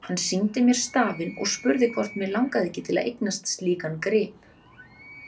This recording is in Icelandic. Hann sýndi mér stafinn og spurði hvort mig langaði ekki til að eignast slíkan grip.